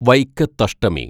Vaikathashtami